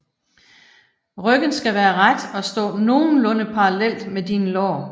Ryggen skal være ret og stå nogenlunde parallelt med dine lår